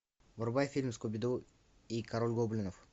врубай фильм скуби ду и король гоблинов